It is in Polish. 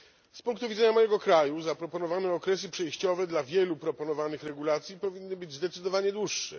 Z punktu widzenia mojego kraju zaproponowane okresy przejściowe dla wielu proponowanych regulacji powinny być zdecydowanie dłuższe.